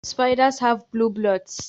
Spiders have blue bloods